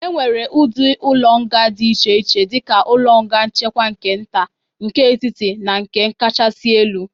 E nwere ụdị ụlọ nga dịd iche iche dịka ụlọ nga nchekwa nke nta, nke etiti na nke kachasị elu.